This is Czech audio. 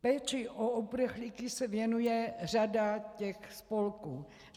Péči o uprchlíky se věnuje řada těch spolků.